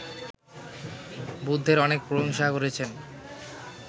বুদ্ধের অনেক প্রশংসা করেছেন